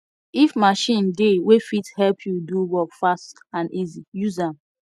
if machine dey wey fit help you do work fast and easy use am